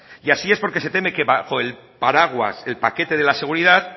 y así es porque se teme que bajo el paraguas el paquete de la seguridad